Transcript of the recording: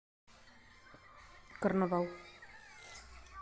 карнавал